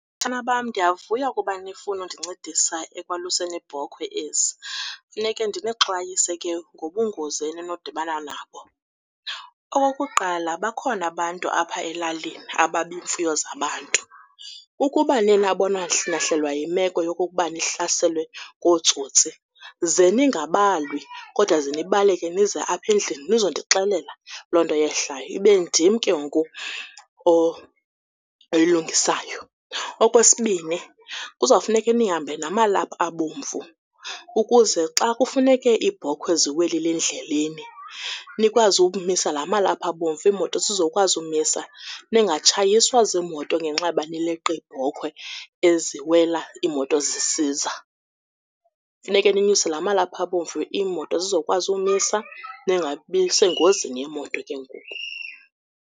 Batshana bam, ndiyavuya ukuba nifuna undincedisa ekwaluseni iibhokhwe ezi. Funeke ndinixwayise ke ngobungozi eninodibana nabo. Okokuqala, bakhona abantu apha elalini ababa iimfuyo zabantu. Ukuba niye nabona nahlelwa yimeko yokokubana nihlaselwe ngootsotsi ze ningabalwi kodwa ze nibaleke nize apha endlini nizondixelela loo nto yehlayo. Ibe ndim ke ngoku oyilungisayo. Okwesibini, kuzawufuneke nihambe namalaphu abomvu ukuze xa kufuneke iibhokhwe ziwelile endleleni nikwazi umisa la malaphu abomvu, imoto zisokwazi umisa, ningatshayiswa ziimoto ngenxa yoba nileqa iibhokhwe eziwela iimoto sisiza. Funeke ninyuse la malaphu abomvu, iimoto zizawukwazi umisa ningabi sengozini yeemoto ke ngoku.